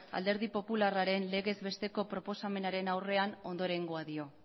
alderdi popularraren legezbesteko proposamenaren aurrean ondorengoa dio